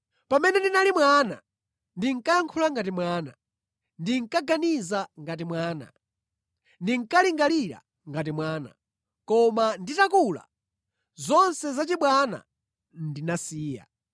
Pamene ndinali mwana ndinkayankhula ngati mwana, ndinkaganiza ngati mwana, ndinkalingalira ngati mwana. Koma nditakula, zonse zachibwana ndinazisiya.